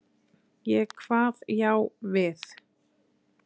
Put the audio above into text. Ég kvað já við.